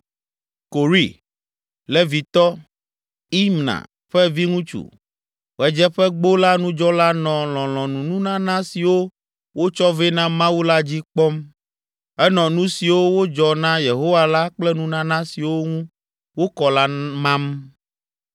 Kore, Levitɔ, Imna ƒe viŋutsu, Ɣedzeƒegbo la nudzɔla nɔ lɔlɔ̃nununana siwo wotsɔ vɛ na Mawu la dzi kpɔm. Enɔ nu siwo wodzɔ na Yehowa la kple nunana siwo ŋu wokɔ la mam.